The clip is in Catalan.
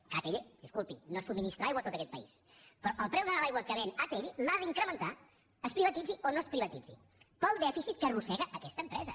que atll disculpi no subministra aigua a tot aquest país però el preu de l’aigua que ven atll l’ha d’incrementar es privatitzi o no es privatitzi pel dèficit que arrossega aquesta empresa